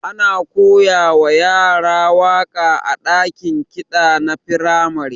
Ana koyawa yara waka a dakin ƙida na firamare.